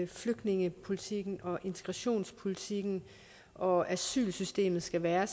flygtningepolitikken integrationspolitikken og asylsystemet skal være